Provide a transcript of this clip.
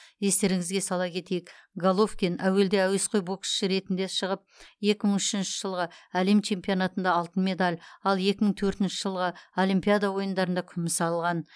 естеріңізге сала кетейік головкин әуелде әуесқой боксшы ретінде шығып екі мың үшінші жылғы әлем чемпионатында алтын медаль ал екі мың төртінші жылғы олимпиада ойындарында күміс алған